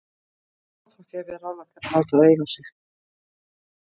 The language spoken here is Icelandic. Sama þótt ég hafi ráðlagt þér að láta það eiga sig.